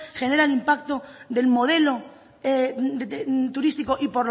general el impacto del modelo turístico y